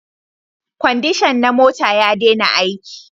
Kwandishan na mota ya dena aiki